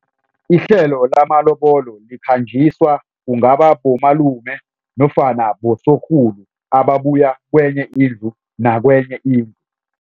Ihlelo lamalobolo likhanjiswa kungaba bomalume nofana bosorhulu ababuya kwenye indlu nakwenye indlu.